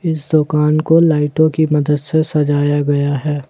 इस दुकान को लाइटों की मदद से सजाया गया है।